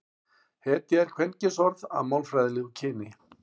hetja er kvenkynsorð að málfræðilegu kyni